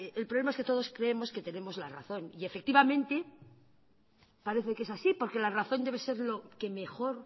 el problema es que todos creemos que tenemos la razón y efectivamente parece que es así porque la razón debe ser lo que mejor